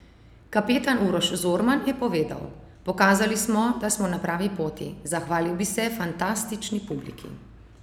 Kapetan Uroš Zorman je povedal: "Pokazali smo, da smo na pravi poti, zahvalil bi se fantastični publiki.